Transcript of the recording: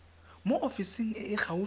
mo ofising e e gaufi